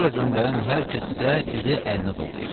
Sizi bura göndərən hər kəs isə sizi ələndə dolayıb.